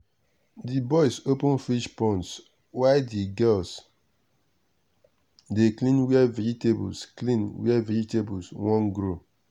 the boys open fish ponds while the girls dey clean where vegetable clean where vegetable won grow.